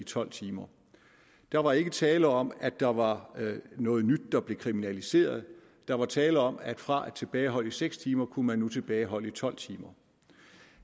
i tolv timer der var ikke tale om at der var noget nyt der blev kriminaliseret der var tale om at fra at tilbageholde i seks timer kunne man nu tilbageholde i tolv timer